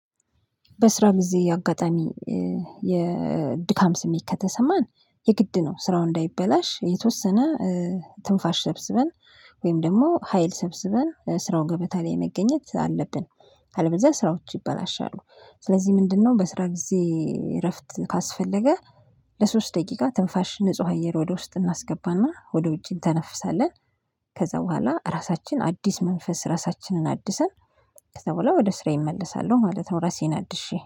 በስራ ጊዜ አጋጣሚ የድካም ስሜት ከተሰማን የግድ ነው። ስራው እንዳይበላሽ የተወሰነ ትንፋሽ ሰብስበን ወይም ደግሞ ሀይል ሰብስበን ስራውን ገበታ ላይ መገኘት አለብን። አለበለዚያ ስራዎች ይበላሻሉ። ስለዚህ ምንድነው? በስራ ጊዜ እረፍት ካስፈለገ ለሶስት ደቂቃ ትንፋሽ ንጹህ አየር ወደ ውስጥ እናስገባና ወደ ውጭ እንተነፍሳለን። ከዛ በኋላ ራሳችን አዲስ መንፈስ ራሳችንን አድሰን። ከዛ በኋላ ወደ ስራዬ እመለሳለሁ ማለት ነው። ራሴን አድሼ